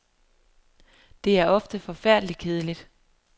Det er ofte forfærdelig kedeligt.